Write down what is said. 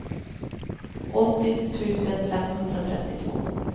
åttio tusen femhundratrettiotvå